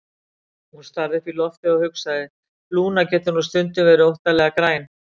Hún starði upp í loftið og hugsaði: Lúna getur nú stundum verið óttalega græn.